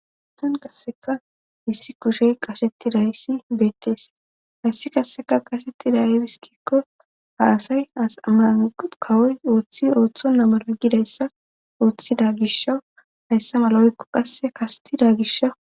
ustan qasseka issi kushey qasheti dayssi beettees hayssi qasseka qashetida ibiskikko ha asay asma kawoy ooththi ooththo namara gidayssa ooththida gisha hayssa malaoykko qasse kasetida gisha